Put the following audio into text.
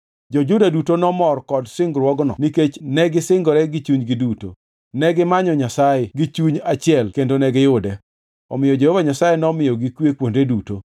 Jo-Juda duto nomor kod singruokno nikech negisingore gi chunygi duto. Negimanyo Nyasaye gi chuny achiel kendo negiyude. Omiyo Jehova Nyasaye nomiyogi kwe kuonde duto.